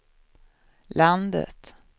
landet